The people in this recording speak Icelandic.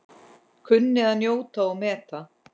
Kunni að njóta og meta.